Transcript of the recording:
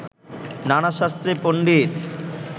নানা শাস্ত্রে পন্ডিত